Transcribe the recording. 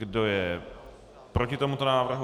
Kdo je proti tomuto návrhu?